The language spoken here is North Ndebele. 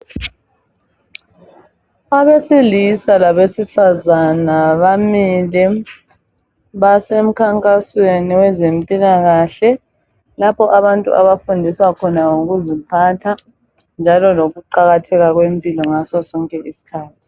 Abesilisa labosifazana bamile basemkhankasweni wezempilakahle lapho abantu bafundiswa khona ngokuziphatha, njalo ngo kuqakatheka kwempilo ngaso sonke iskhathi.